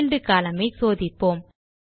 field column ஐ சோதிப்போம்